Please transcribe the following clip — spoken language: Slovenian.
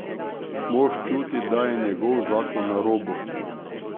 Mož čuti, da je njegov zakon na robu.